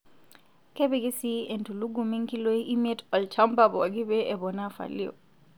Kepiki sii entulugumi nkiloi imiet olchamba pooki pee eponaa falio.